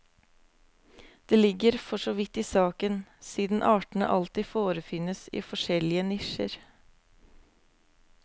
Det ligger for så vidt i saken, siden artene alltid forefinnes i forskjellige nisjer.